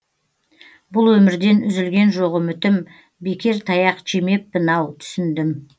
бұл өмірден үзілген жоқ үмітім бекер таяқ жемеппін ау түсіндім